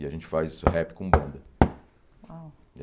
E a gente faz isso, rap com banda. Uau